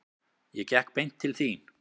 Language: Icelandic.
Ég gekk beint til þín.